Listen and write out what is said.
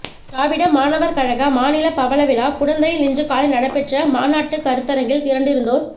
திராவிட மாணவர் கழக மாநில பவளவிழா குடந்தையில் இன்று காலை நடைபெற்ற மாநாட்டுக் கருத்தரங்கில் திரண்டிருந்தோர்